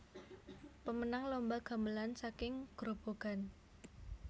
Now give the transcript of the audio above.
Pemenang lomba gamelan saking Grobogan